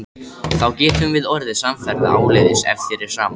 Þá getum við orðið samferða áleiðis ef þér er sama.